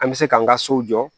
An bɛ se k'an ka so jɔ